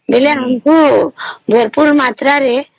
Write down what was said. ବେଳେ ଆମକୁ ଭରପୁର ମାତ୍ର ରେ